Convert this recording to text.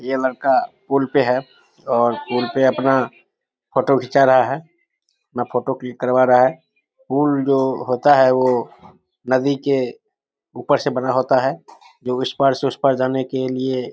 ये लड़का पुल पे है और पुल पे अपना फोटो खींचा रहा है अपना फोटो क्लिक करवा रहा है पुल जो होता है वो नदी के ऊपर से बना होता है इस पार से उस पार जाने के लिए --